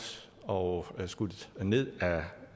og skudt ned